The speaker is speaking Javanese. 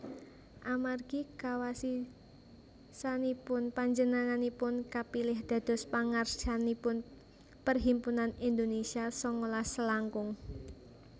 Amargi kawasisanipun panjenenganipun kapilih dados pangarsanipun Perhimpunan Indonésia sangalas selangkung